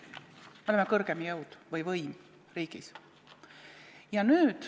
Me oleme kõrgem jõud või võim riigis.